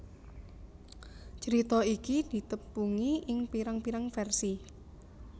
Crita iki ditepungi ing pirang pirang vèrsi